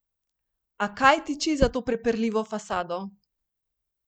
A kaj tiči za to prepirljivo fasado?